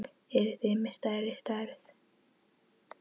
Eruð þið með stærri stærð?